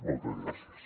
moltes gràcies